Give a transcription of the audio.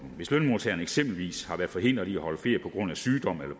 hvis lønmodtageren eksempelvis har været forhindret i at holde ferie på grund af sygdom eller